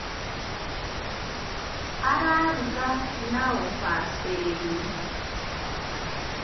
Araruga na ũbacĩrĩri.